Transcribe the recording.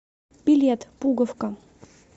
билет пуговка